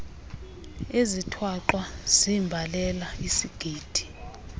ezithwaxwa ziimbalela isigidi